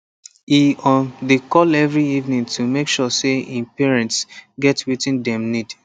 e um dey call every evening to make sure say him parents get wetin dem need